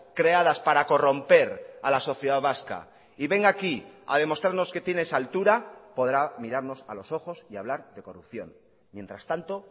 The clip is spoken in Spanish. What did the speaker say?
creadas para corromper a la sociedad vasca y venga aquí ha demostrarnos que tiene esa altura podrá mirarnos a los ojos y hablar de corrupción mientras tanto